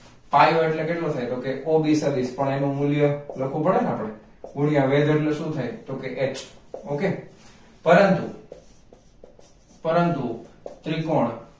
પાયો એટલે કેટલું થાય તો o b સદીશ પણ એનું મૂલ્ય લખવું પડે ને આપણે ગુણ્યા વેધ એટલે શું થાય તો કે હ okay પરંતુ પરંતુ ત્રિકોણ